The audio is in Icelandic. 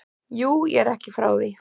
Jú, ég er ekki frá því.